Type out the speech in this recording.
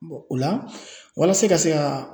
o la walasa ka se ka